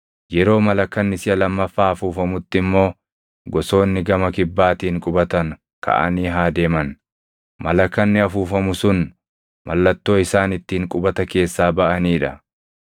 Yeroo malakanni siʼa lammaffaa afuufamutti immoo gosoonni gama kibbaatiin qubatan kaʼanii haa deeman. Malakanni afuufamu sun mallattoo isaan ittiin qubata keessaa baʼanii dha.